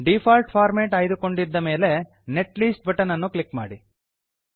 default format ಆಯ್ದುಕೊಂಡಿದ್ದ ಮೇಲೆ net list button ಅನ್ನು ಕ್ಲಿಕ್ ಮಾಡಿ